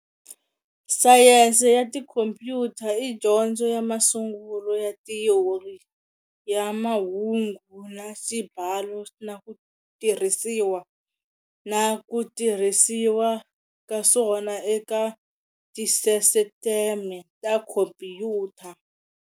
Sayense ya tikhompyuta i dyondzo ya masungulo ya thiyori ya mahungu na xibalo na ku tirhisiwa na ku tirhisiwa ka swona eka tisisiteme ta khompyuta.